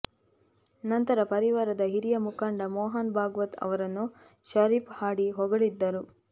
ನಂತರ ಪರಿವಾರದ ಹಿರಿಯ ಮುಖಂಡ ಮೋಹನ್ ಬಾಗ್ವತ್ ಅವರನ್ನು ಷರೀಫ್ ಹಾಡಿ ಹೊಗಳಿದ್ದರು